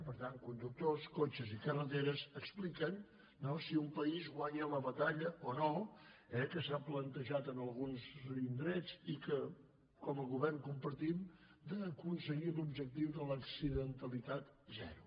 per tant conductors cotxes i carreteres expliquen no si un país guanya la batalla o no que s’ha plantejat en alguns indrets i que com a govern compartim d’aconseguir l’objectiu de l’accidentalitat zero